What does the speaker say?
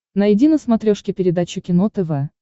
найди на смотрешке передачу кино тв